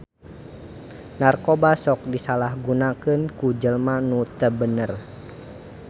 Narkoba sok disalahgunakeun ku jelma nu teu bener